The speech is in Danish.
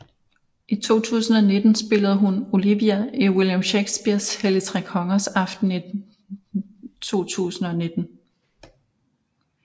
I 2019 spillede hun Olivia i William Shakespeares Helligtrekongers aften i 2019